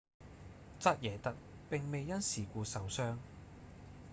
扎耶特並未因事故受傷